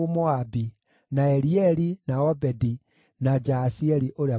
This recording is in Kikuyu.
na Elieli, na Obedi, na Jaasieli ũrĩa Mũmezobai.